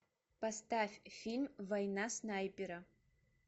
поставь фильм война снайпера